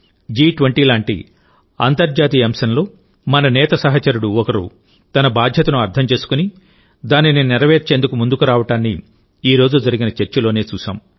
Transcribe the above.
జి20 లాంటి అంతర్జాతీయ అంశంలో మన నేత సహచరుడు ఒకరు తన బాధ్యతను అర్థం చేసుకుని దానిని నెరవేర్చేందుకు ముందుకు రావడాన్ని ఈరోజు జరిగిన చర్చలోనే చూశాం